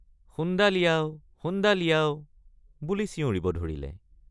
শুণ্ডা লিয়াও শুণ্ডা লিয়াও বুলি চিঞৰিব ধৰিলে।